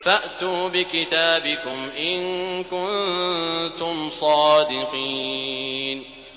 فَأْتُوا بِكِتَابِكُمْ إِن كُنتُمْ صَادِقِينَ